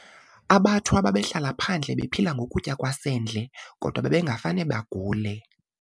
AbaThwa babehlala phandle bephila ngokutya kwasendle kodwa babengafane bagule.